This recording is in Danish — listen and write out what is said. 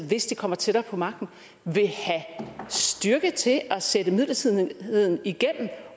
hvis de kommer tættere på magten vil have styrken til at sætte midlertidigheden igennem